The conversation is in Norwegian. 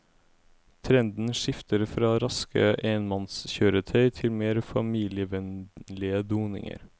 Trenden skifter fra raske enmannskjøretøy til mer familievennlige doninger.